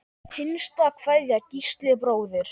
Hinsta kveðja, Gísli bróðir.